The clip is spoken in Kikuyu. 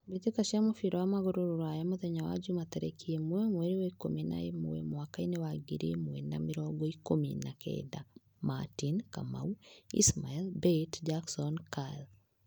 Mbitika cia mũbira wa magũrũ rũraya, mũthenya wa Jumaa tarĩki ĩmwe, mweri wa ikũmi na ĩmwe, mwakainĩ wa ngiri ĩmwe na mĩrongo ikũmi na kenda: Martin, Kamau, Ismail, Bate, Jackson, Karl.